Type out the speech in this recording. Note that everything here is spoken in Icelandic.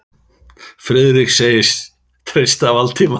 Friðrik sagðist treysta Valdimari.